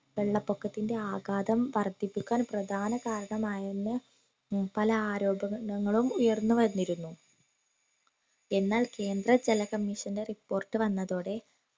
വെള്ളപൊക്കത്തിന്റെ ആഗാതം വർദ്ധിപ്പിക്കാൻ പ്രധാന കാരണമായെന്ന് പല ആരോപക ണങ്ങളും ഉയർന്നുവന്നിരുന്നു എന്നാൽ കേന്ദ്ര ജല commission ന്റെ report വന്നതോടെ